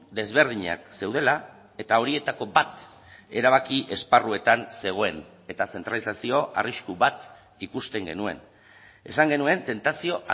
desberdinak zeudela eta horietako bat erabaki esparruetan zegoen eta zentralizazio arrisku bat ikusten genuen esan genuen tentazio